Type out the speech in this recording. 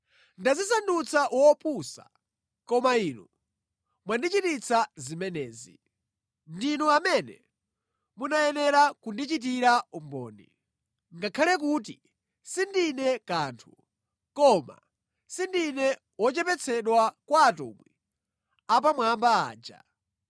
Ndadzisandutsa wopusa, koma inu mwandichititsa zimenezi. Ndinu amene munayenera kundichitira umboni. Ngakhale kuti sindine kanthu, koma sindine wochepetsetsa kwa “atumwi apamwamba” aja.